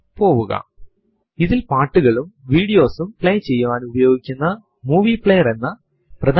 home directory കാണുന്നതിനായി prompt ൽ echo space dollar ക്യാപിറ്റലിൽ ഹോം എന്ന് ടൈപ്പ് ചെയ്തു എന്റർ അമർത്തുക